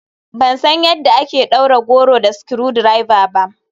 Ban san yadda ake ɗaure goro da screwdriver ba.